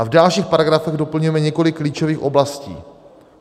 A v dalších paragrafech doplňujeme několik klíčových oblastí.